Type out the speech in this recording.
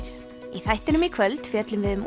í þættinum í kvöld fjöllum við um